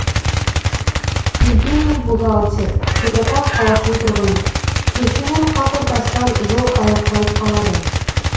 евгений бухгалтер петропавл қаласының тұрғыны көшенің қақ ортасынан жол аяқталып қалады